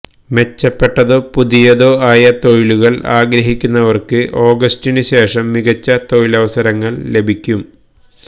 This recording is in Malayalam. മെച്ചപ്പെട്ടതോ പുതിയതോ ആയ തൊഴിലുകള് ആഗ്രഹിക്കുന്നവര്ക്ക് ഓഗസ്റ്റിനുശേഷം മികച്ച തൊഴിലവസരങ്ങള് ലഭിക്കും